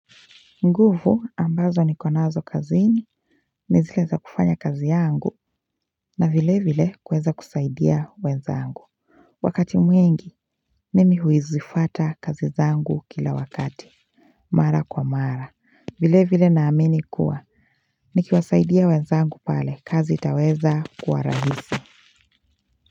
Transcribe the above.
Nguvu ambazo nikonazo kazini nizile za kufanya kazi yangu na vilevile kuweza kusaidia wenzangu Wakati mwingi mimi huizifata kazi zangu kila wakati Mara kwa mara. Vilevile naamini kuwa Nikiwasaidia wenzangu pale kazi itaweza kuwa rahisi.